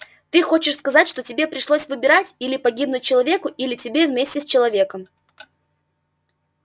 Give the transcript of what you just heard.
ты хочешь сказать что тебе пришлось выбирать или погибнуть человеку или тебе вместе с человеком